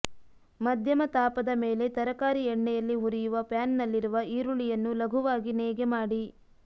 ಮಧ್ಯಮ ತಾಪದ ಮೇಲೆ ತರಕಾರಿ ಎಣ್ಣೆಯಲ್ಲಿ ಹುರಿಯುವ ಪ್ಯಾನ್ನಲ್ಲಿರುವ ಈರುಳ್ಳಿಯನ್ನು ಲಘುವಾಗಿ ನೇಯ್ಗೆ ಮಾಡಿ